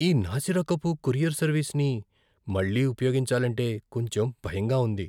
ఈ నాసిరకపు కొరియర్ సర్వీస్ని మళ్ళీ ఉపయోగించాలంటే కొంచెం భయంగా ఉంది.